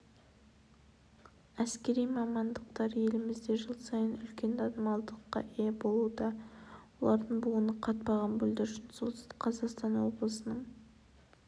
әскери мамандықтар елімізде жыл сайын үлкен танымалдылыққа ие болуда олардың буыны қатпаған бүлдіршін солтүстік қазақстан облысының